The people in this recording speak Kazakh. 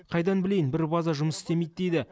қайдан білейін бір база жұмыс істемейді дейді